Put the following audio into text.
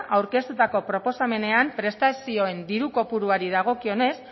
aurkeztutako proposamenean prestazioen diru kopuruari dagokionez